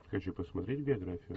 хочу посмотреть биографию